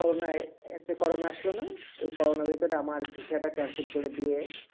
করোনায় plus এই corona আসলে না এই করোনার ভেতরে আমার visa টা cancel করে দিয়ে